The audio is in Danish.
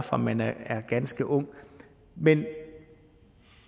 fra man er ganske ung men jeg